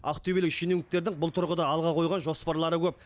ақтөбелік шенеуніктердің бұл тұрғыда алға қойған жоспарлары көп